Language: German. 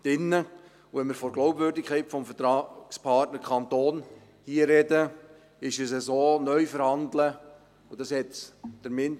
Und wenn wir hier von der Glaubwürdigkeit des Vertragspartners Kanton sprechen, ist es so: Neuverhandeln heisst, wir würden wahrscheinlich neu abstimmen.